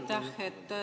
Aitäh!